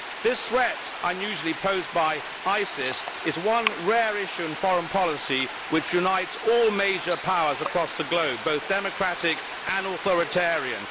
This threat unusually posed by ISIS is one rare issue in foreign policy which unites all major powers across the globe, both democratic and authoritarian.